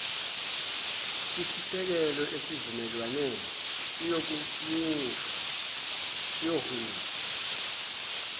kwisisekelo sesivumelwane iyohunyushwa